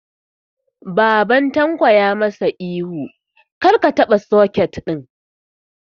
Baban Tanko ya ma sa ihu 'Kar ka taɓa soket ɗin'!